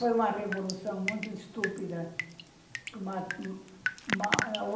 Foi uma revolução muito estúpida. que